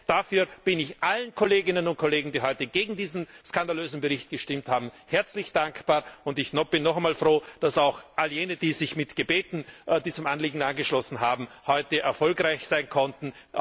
Dafür bin ich allen Kolleginnen und Kollegen, die heute gegen diesen skandalösen Bericht gestimmt haben, herzlich dankbar. Ich bin noch einmal froh, dass auch alle jene, die sich mit Gebeten diesem Anliegen angeschlossen haben, heute erfolgreich sein konnten.